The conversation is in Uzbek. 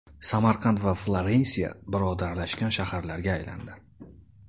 Samarqand va Florensiya birodarlashgan shaharlarga aylandi.